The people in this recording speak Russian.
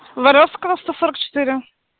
воровского сто сорок четыре